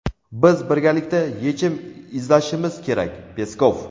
Biz birgalikda yechim izlashimiz kerak – Peskov.